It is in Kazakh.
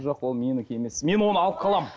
жоқ ол менікі емес мен оны алып қаламын